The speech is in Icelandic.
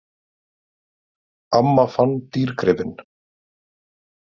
Amma fann dýrgripinn.